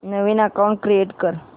नवीन account create कर